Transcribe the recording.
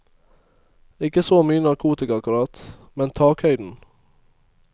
Ikke så mye narkotika akkurat, men takhøyden.